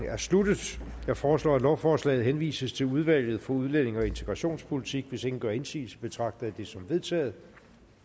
er sluttet jeg foreslår at lovforslaget henvises til udvalget for udlændinge og integrationspolitik hvis ingen gør indsigelse betragter jeg det som vedtaget